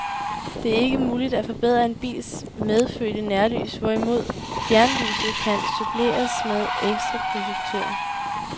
Det er ikke muligt at forbedre en bils medfødte nærlys, hvorimod fjernlyset kan suppleres med ekstra projektører.